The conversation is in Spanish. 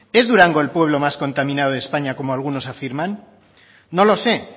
es durango el pueblo más contaminado de españa como algunos afirman no lo sé